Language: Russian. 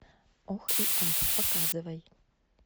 ох и ах показывай